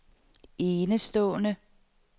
enestående